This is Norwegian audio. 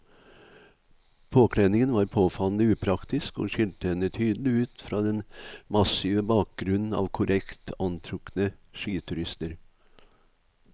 Påkledningen var påfallende upraktisk og skilte henne tydelig ut fra den massive bakgrunnen av korrekt antrukne skiturister.